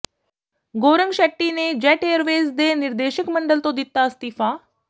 ਗੌਰੰਗ ਸ਼ੈੱਟੀ ਨੇ Jet Airways ਦੇ ਨਿਰਦੇਸ਼ਕ ਮੰਡਲ ਤੋਂ ਦਿੱਤਾ ਅਸਤੀਫਾ